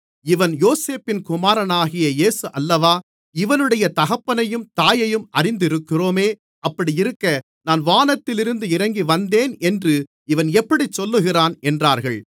இவன் யோசேப்பின் குமாரனாகிய இயேசு அல்லவா இவனுடைய தகப்பனையும் தாயையும் அறிந்திருக்கிறோமே அப்படி இருக்க நான் வானத்திலிருந்து இறங்கி வந்தேன் என்று இவன் எப்படிச் சொல்லுகிறான் என்றார்கள்